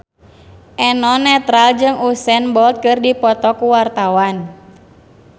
Eno Netral jeung Usain Bolt keur dipoto ku wartawan